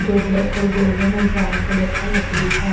जो ब्लैक और गोल्डन और ब्राउन कलर का लकड़ी का--